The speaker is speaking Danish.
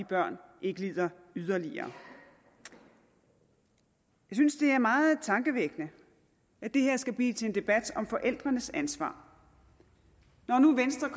børn ikke lider yderligere jeg synes det er meget tankevækkende at det her skal blive til en debat om forældrenes ansvar når nu venstre